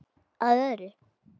Að öðru.